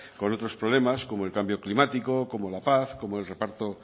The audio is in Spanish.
con otros problemas como el cambio climático como la paz como el reparto